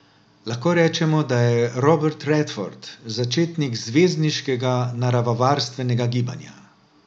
Lahko rečemo, da je Robert Redford začetnik zvezdniškega naravovarstvenega gibanja.